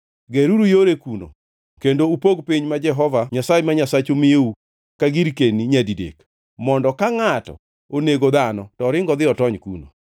Geruru yore kuno kendo upog piny ma Jehova Nyasaye ma Nyasachu miyou ka girkenino nyadidek, mondo ka ngʼato onego dhano to oring odhi otony kuno.